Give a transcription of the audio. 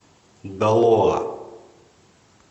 далоа